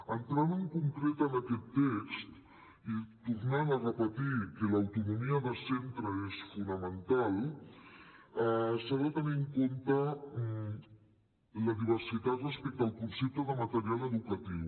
entrant en concret en aquest text i tornant a repetir que l’autonomia de centre és fonamental s’ha de tenir en compte la diversitat respecte al concepte de material educatiu